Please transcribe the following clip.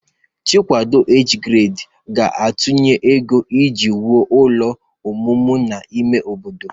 Chikwado Age Grade ga-atụnye ego iji wuo ụlọ ọmụmụ n'ime obodo